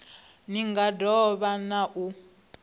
nga do vha na u